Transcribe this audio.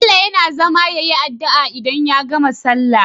Bello yAna zama yayi adu'a idan ya gama sallah